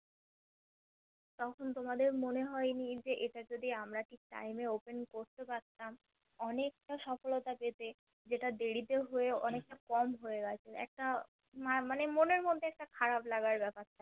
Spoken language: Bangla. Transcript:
তখন তোমাদের মনে হয়নি যে এটা যদি আমরা ঠিক Time এ Open করতে পারতাম অনেকটা সফলতা পেতে যেটা দেরিতে হয়ে অনেকটা কম হয়ে গেছে একটা মানে মনের মধ্যে একটা খারাপ লাগার বেপার থাকে